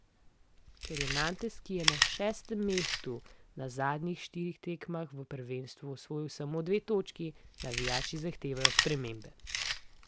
Ker je Nantes, ki je na šestem mestu, na zadnjih štirih tekmah v prvenstvu osvojil samo dve točki, navijači zahtevajo spremembe.